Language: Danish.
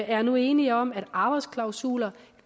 er nu enige om at arbejdsklausuler